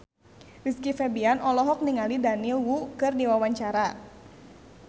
Rizky Febian olohok ningali Daniel Wu keur diwawancara